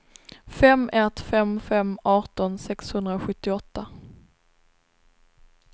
fem ett fem fem arton sexhundrasjuttioåtta